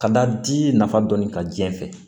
Ka da di nafa dɔnni ka diɲɛ fɛ